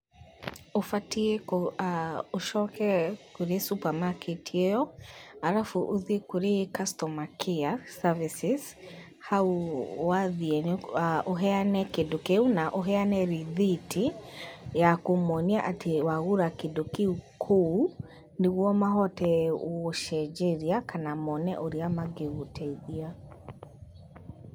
Ũbatiĩ ũcoke kurĩ supermarket ĩyo, arabu ũthiĩ kurĩ customer care services, hau wathiĩ ũheane kĩndũ kĩu, na ũheane rithiti ya kũmonia atĩ wagũra kĩndũ kĩu kũu nĩguo mahote gũgũcenjeria kana moone ũrĩa mangĩgũteithia.